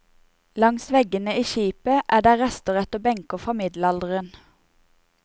Langs veggene i skipet er der rester etter benker fra middelalderen.